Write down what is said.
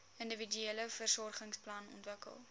individuele versorgingsplan ontwikkel